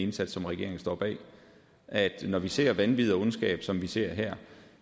indsats som regeringen står bag at når vi ser vanvid og ondskab som vi ser her